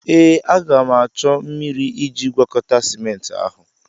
Ee, a ga m achọ mmiri iji gwakọta ciment ahụ.